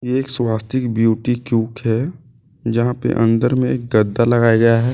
एक स्वास्तिक ब्यूटी क्यूक है जहां पे अंदर में गड्ढा लगाया गया है।